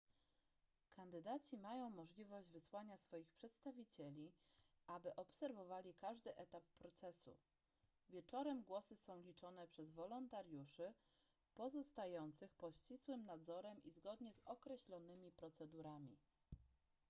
kandydaci mają możliwość wysłania swoich przedstawicieli aby obserwowali każdy etap procesu wieczorem głosy są liczone przez wolontariuszy pozostających pod ścisłym nadzorem i zgodnie z określonymi procedurami